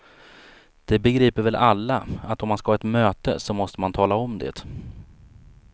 Det begriper väl alla att om man ska ha ett möte så måste man tala om det.